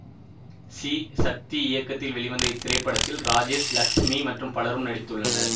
C Sakthi இயக்கத்தில் வெளிவந்த இத்திரைப்படத்தில் ராஜேஷ் லக்ஸ்மி மற்றும் பலரும் நடித்துள்ளனர்